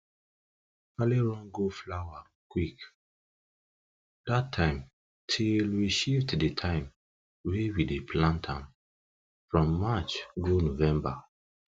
kale run go flower quick that time till we shift the time wey we dey plant am from march go november